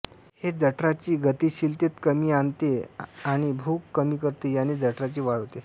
हे जठराची गतिशीलतेत कमी आणते आणि भूख कमी करते याने जठराची वाढ होते